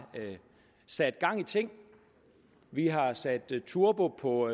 sat gang i ting vi har sat turbo på